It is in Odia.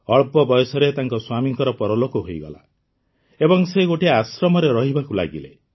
ଅଳ୍ପ ବୟସରେ ତାଙ୍କ ସ୍ୱାମୀଙ୍କ ପରଲୋକ ହୋଇଗଲା ଏବଂ ସେ ଗୋଟିଏ ଆଶ୍ରମରେ ରହିବାକୁ ଲାଗିଲେ